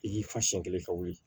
I k'i fa siɲɛ kelen ka wuli